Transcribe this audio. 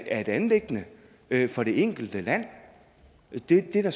er et anliggende for det enkelte land det er da